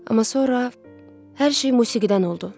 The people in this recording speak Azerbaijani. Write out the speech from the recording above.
Amma sonra hər şey musiqidən oldu.